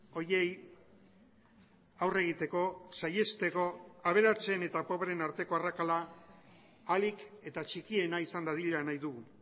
horiei aurre egiteko saihesteko aberatsen eta pobreen arteko arrakala ahalik eta txikiena izan dadila nahi dugu